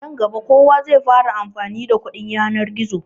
Nan gaba kowa zai koma yin amfani da kuɗin yanar gizo.